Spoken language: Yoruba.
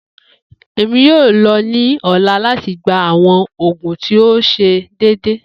Emi yoo lọ ni ọla lati gba awọn oogun ti o ṣe deede.